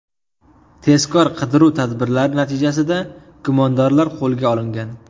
Tezkor-qidiruv tadbirlari natijasida gumondorlar qo‘lga olingan.